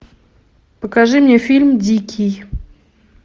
покажи мне фильм дикий